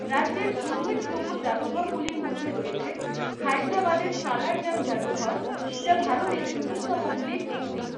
রাজ্যের উল্লেখযোগ্য জাদুঘরগুলির মধ্যে রয়েছে হায়দ্রাবাদের সালার জং জাদুঘর, যা ভারতের বৃহত্তমগুলির একটি।